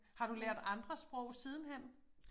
Har du lært andre sprog sidenhen?